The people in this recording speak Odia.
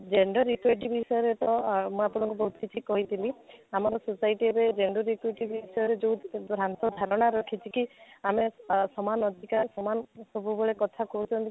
gender equity ବିଷୟରେ ତ ମୁଁ ଆପଣଙ୍କୁ ବହୁତ କିଛି କହିଥିଲି ଆମର society ରେ gender equity ବିଷୟରେ ଯଉ ଭ୍ରାନ୍ତ ଧାରଣା ରହିଛି କି ଆମେ ଆଃ ସମାନ ଅଧିକାର ସମାନ ସବୁବେଳେ କଥା କହୁଛନ୍ତି